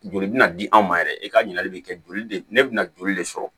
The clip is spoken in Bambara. Joli bina di anw ma yɛrɛ i ka ɲininkali bɛ kɛ joli de bɛna joli de sɔrɔ